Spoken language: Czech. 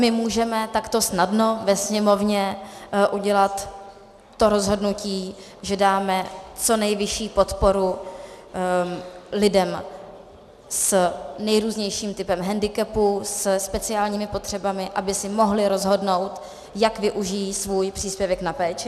My můžeme takto snadno ve Sněmovně udělat to rozhodnutí, že dáme co nejvyšší podporu lidem s nejrůznějším typem hendikepu, se speciálními potřebami, aby si mohli rozhodnout, jak využití svůj příspěvek na péči.